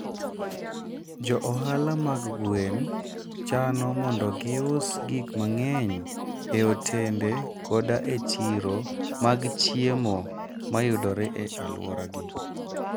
Jo ohala mag gwen chano mondo gius gik mang'eny e otende koda e chiro mag chiemo ma yudore e alworagi.